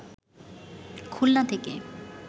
খুলনা থেকে